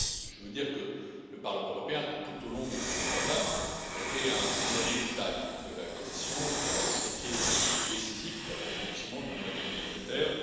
Je veux dire que le Parlement européen, tout au long de ce mandat, a été un allié de taille de la Commission dans le chantier décisif d'approfondissement de l'Union économique et monétaire.